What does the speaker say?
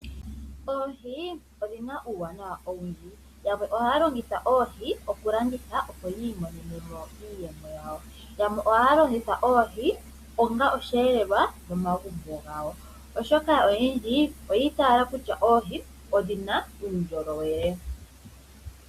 Oohi odhina uuwanawa owundji .Yamwe ohaya longitha oohi okulanditha opo yi imonenemo iiyemo yawo .yamwe oha ya longitha oohi onga osheelelwa momagumbo gawo oshoka oyendji oyi itaala kutya oohi odhina uundjolowele.